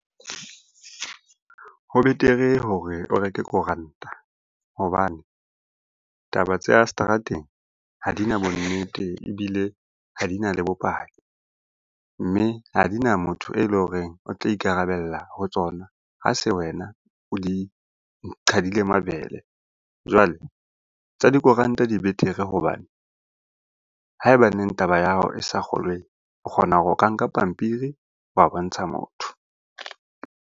Ho betere hore o reke koranta hobane taba tsa seterateng ha di na bonnete, ebile ha di na le bopaki. Mme ha di na motho e leng horeng o tla ikarabella ho tsona ha se wena o di qhadile mabele. Jwale tsa dikoranta di betere hobane ha ebaneng taba ya hao e sa kgolweng, o kgona ho ka nka pampiri wa bontsha motho.